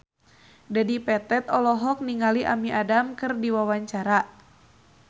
Dedi Petet olohok ningali Amy Adams keur diwawancara